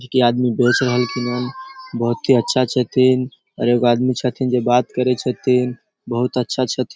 जेकी आदमी बेच रहलखिन ह बहुत ही अच्छा छथिन और एगो आदमी छथिन जे बात करे छथिन बहुत अच्छा --